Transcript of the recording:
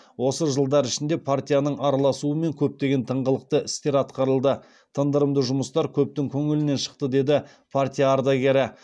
осы жылдар ішінде партияның араласуымен көптеген тыңғылықты істер атқарылды тындырымды жұмыстар көптің көңілінен шықты деді партия ардагері